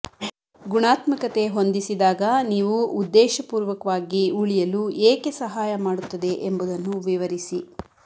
ಗುಣಾತ್ಮಕತೆ ಹೊಂದಿಸಿದಾಗ ನೀವು ಉದ್ದೇಶಪೂರ್ವಕವಾಗಿ ಉಳಿಯಲು ಏಕೆ ಸಹಾಯ ಮಾಡುತ್ತದೆ ಎಂಬುದನ್ನು ವಿವರಿಸಿ